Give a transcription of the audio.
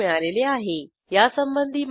यासंबंधी माहिती पुढील साईटवर उपलब्ध आहे